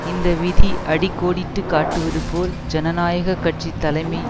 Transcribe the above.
இந்த விதி அடி கோடிட்டு காட்டுவது போல் ஜனநாயக கட்சி தலைமை